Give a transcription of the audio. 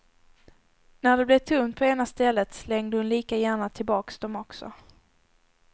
När det blev tomt på ena stället, slängde hon lika gärna tillbaks dom också.